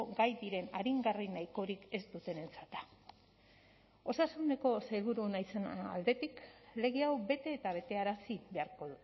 gai diren aringarri nahikorik ez dutenentzat da osasuneko sailburu naizen aldetik lege hau bete eta betearazi beharko